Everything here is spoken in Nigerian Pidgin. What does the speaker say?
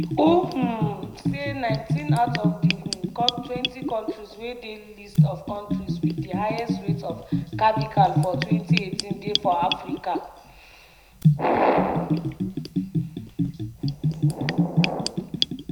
who um say 19 out of di [um]twentykontris wey dey list of kontris wit di highest rates of cervical for 2018 dey for africa.